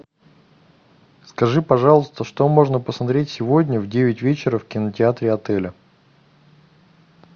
скажи пожалуйста что можно посмотреть сегодня в девять вечера в кинотеатре отеля